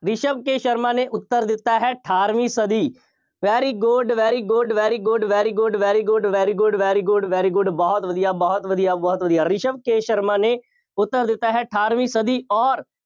ਰਿਸ਼ਵ K Sharma ਨੇ ਉੱਤਰ ਦਿੱਤਾ ਹੈ, ਅਠਾਰਵੀਂ ਸਦੀ, very good, very good, very good, very good, very good, very good, very good, very good ਬਹੁਤ ਵਧੀਆ, ਬਹੁਤ ਵਧੀਆ, ਬਹੁਤ ਵਧੀਆ, ਰਿਸ਼ਵ ਕੇ ਸ਼ਰਮਾ ਨੇ ਉੱਤਰ ਦਿੱਤਾ ਹੈ, ਅਠਾਰਵੀ ਸਦੀ, ਅੋਰ